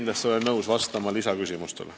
Olen muidugi nõus vastama lisaküsimustele.